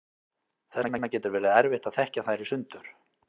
þess vegna getur verið erfitt að þekkja þær í sundur